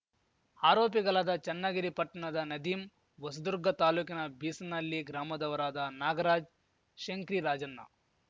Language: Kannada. ಆರೋಪಿಗಲಾದ ಚನ್ನಗಿರಿ ಪಟ್ನದ ನದೀಮ್‌ ಹೊಸದುರ್ಗ ತಾಲೂಕಿನ ಬೀಸನಹಲ್ಲಿ ಗ್ರಾಮದವರಾದ ನಾಗರಾಜ್‌ ಶಂಕ್ರಿರಾಜಣ್ಣ